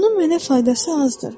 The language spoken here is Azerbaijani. Bunun mənə faydası azdır.